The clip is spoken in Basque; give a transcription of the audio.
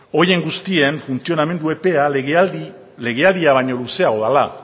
horien guztien funtzionamendu epea legealdia baino luzeago dela